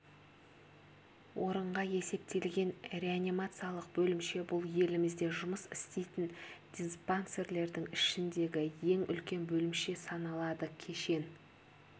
орынға есептелген реанимациялық бөлімше бұл елімізде жұмыс істейтін диспансерлердің ішіндегі ең үлкен бөлімше саналады кешен